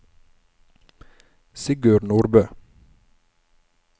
Sigurd Nordbø